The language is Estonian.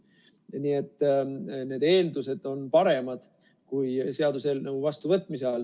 Nii et need eeldused on paremad, kui seaduse vastuvõtmise ajal.